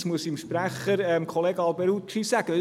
Jetzt muss ich zu Kollege Alberucci sagen: